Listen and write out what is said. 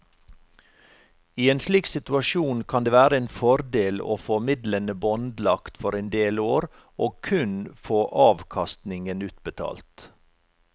I en slik situasjon kan det være en fordel å få midlene båndlagt for en del år og kun få avkastningen utbetalt.